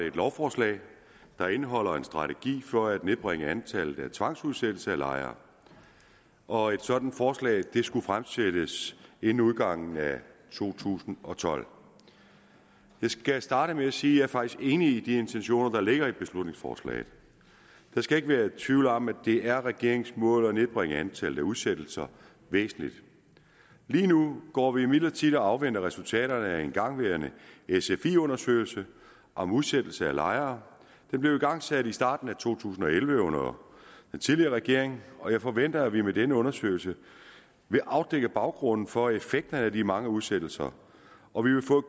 et lovforslag der indeholder en strategi for at nedbringe antallet af tvangsudsættelser af lejere og et sådant forslag skulle fremsættes inden udgangen af to tusind og tolv jeg skal starte med at sige at jeg faktisk er enig i de intentioner der ligger i beslutningsforslaget der skal ikke være tvivl om at det er regeringens mål at nedbringe antallet af udsættelser væsentligt lige nu går vi imidlertid og afventer resultaterne af en igangværende sfi undersøgelse om udsættelse af lejere den blev igangsat i starten af to tusind og elleve under den tidligere regering og jeg forventer at vi med denne undersøgelse vil afdække baggrunden for effekten af de mange udsættelser og vi vil få